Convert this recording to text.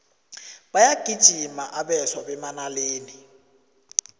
bayagijima abeswa bemanaleni